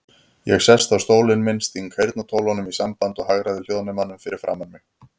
Ég sest á stólinn minn, sting heyrnartólunum í sambandi og hagræði hljóðnemanum fyrir framan mig.